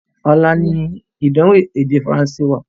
Ọlá ni ìdánwò èdè Faransé wá.